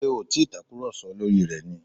Ṣé ẹ ò tàkùrọ̀sọ lórí ẹ̀ ni?